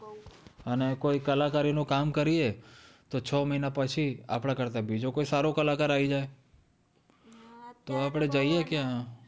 અને કોઈ કલાકારી નું કામ કરીયે તો છ મહિના પછી આપડા કરતા બીજો કોઈ સારો કલાકાર આવી જાય તો આપણે જઇયે ક્યાં